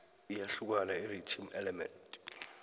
iyahlukani irhythm element